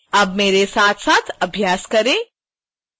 अब मेरे साथ साथ अभ्यास करें